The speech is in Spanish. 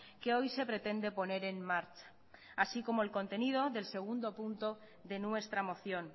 que hoy se pretende poner en marcha así como el contenido del segundo punto de nuestra moción